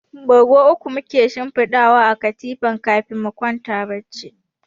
Bargo uku muke shinfidawa a kan katifa kafin mu kwanta bacci.